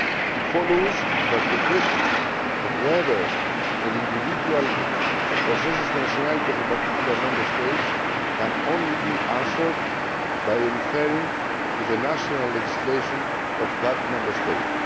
It follows that the question of whether an individual possesses the nationality of a particular Member State can only be answered by referring to the national legislation of that Member State.